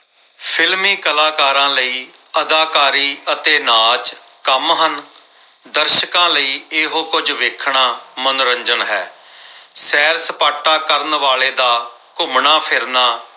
films ਕਲਾਕਾਰਾਂ ਲਈ ਅਦਾਕਾਰੀ ਅਤੇ ਨਾਚ ਕੰਮ ਹਨ। ਦਰਸ਼ਕਾਂ ਲਈ ਇਹੋ ਕੁਝ ਵੇਖਣਾ ਮਨੋਰੰਜਨ ਹੈ ਸੈਰ ਸਪਾਟਾ ਕਰਨ ਵਾਲੇ ਦਾ ਘੁੰਮਣਾ ਫਿਰਨਾ